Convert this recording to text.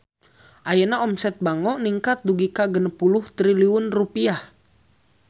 Ayeuna omset Bango ningkat dugi ka 60 triliun rupiah